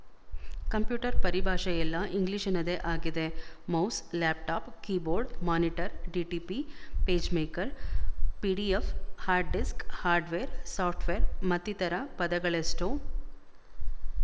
computer ಪರಿಭಾಷೆಯೆಲ್ಲಾ ಇಂಗ್ಲಿಶಿನದೇ ಆಗಿದೆ mouse laptop keyboard monitor DTP PageMaker PDF hard disk hardware software ಮತ್ತಿತರ ಪದಗಳೆಷ್ಟೋ